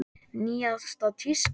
Nýjasta tíska?